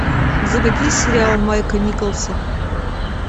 заводи сериал майка николса